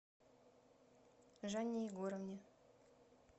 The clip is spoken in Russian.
жанне егоровне